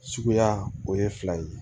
Suguya o ye fila ye